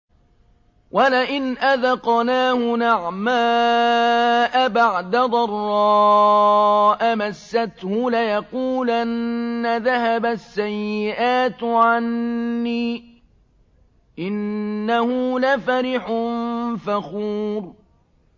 وَلَئِنْ أَذَقْنَاهُ نَعْمَاءَ بَعْدَ ضَرَّاءَ مَسَّتْهُ لَيَقُولَنَّ ذَهَبَ السَّيِّئَاتُ عَنِّي ۚ إِنَّهُ لَفَرِحٌ فَخُورٌ